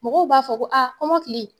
Mɔgɔw b'a fɔ ko kɔmɔkili